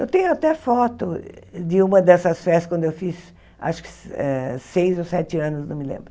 Eu tenho até foto de uma dessas festas, quando eu fiz, acho que eh seis ou sete anos, não me lembro.